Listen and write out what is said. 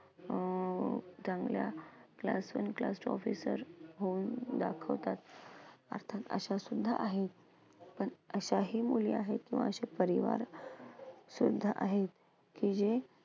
अं चांगल्या class one class two officer होऊन दाखवतात. अर्थात अशा सुद्धा आहेत. पण अशाही मुली आहेत किंवा अशे परिवार सुद्धा आहेत,